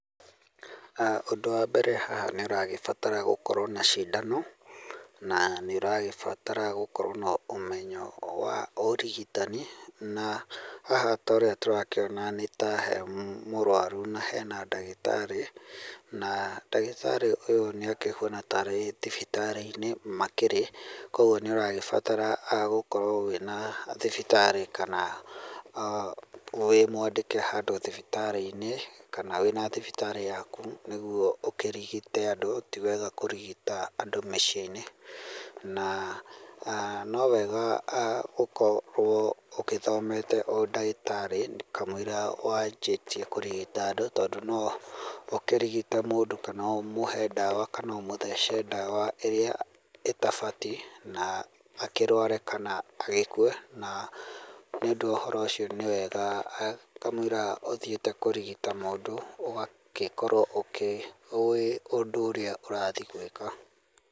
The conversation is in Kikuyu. Aah ũndũ wa mbere haha nĩũragĩbatara gũkorwo na cindano na nĩũragĩbatara gũkorwo na ũmenyo wa ũrigitani na haha ta ũrĩa tũrakĩona nĩ ta he mũrwaru na hena ndagĩtarĩ na ndagĩtarĩ ũyũ nĩ akĩhuana tarĩ thibitarĩ-inĩ makĩrĩ kwoguo nĩ ũragĩbatara gũkorwo wĩna thibitarĩ kana wĩ mwandĩke handũ thibitarĩ-inĩ kana wĩna thibitarĩ yaku nĩguo ũkĩrigite andũ, tiwega kũrigita andũ mĩciĩ-inĩ na no wega gũkorwo ũgĩthomete ũndagĩtarĩ kamũira wanjĩtie kũrigita andũ tondũ no ũkĩrigite mũndũ kana ũkĩmũhe dawa kana ũmũthece dawa ĩrĩa ĩtabatie naa akĩrware kana agĩkue na nĩ ũndũ wa ũhoro ũcio nĩ wega kamũira ũthiĩte kũrigita mũndũ ũgagĩkorwo ũĩ ũndũ ũrĩa ũrathiĩ gwĩka.